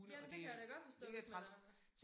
Jamen det kan jeg da godt forstå hvis man er så